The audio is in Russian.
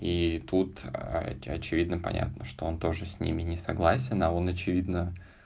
и тут очевидно понятно что он тоже с ними не согласен а он очевидно